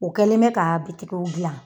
O kɛlen bɛ k'a bitigiw gilan